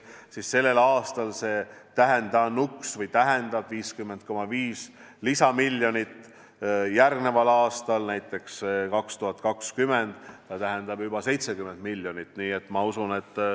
Sellel aastal tähendab see 50,5 lisamiljonit, järgmisel aastal, 2020, tähendab see juba 70 miljonit.